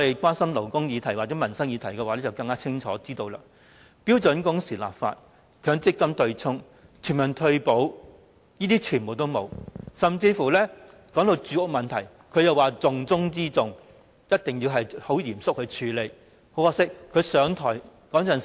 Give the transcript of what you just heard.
關心勞工議題和民生議題的人會清楚知道，標準工時立法、強積金對沖、全民退保，這些統統沒有做，甚至連當時被形容為重中之重，需要嚴肅處理的住屋問題也沒有改善。